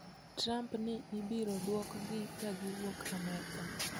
Trump ni ibiroduokgi ka giwuok amerka.